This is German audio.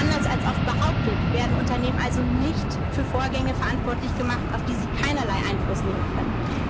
aufkommen. Anders als oft behauptet, werden Unternehmen also nicht für Vorgänge verantwortlich gemacht, auf die sie keinerlei Einfluss